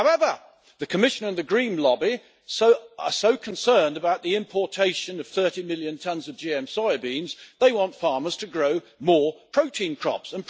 However, the Commission and the green lobby are so concerned about the importation of 30 million tonnes of GM soybeans that they want farmers to grow more protein crops.